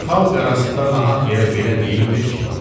Xalq arasında nahaq yerə belə deyilmir ki: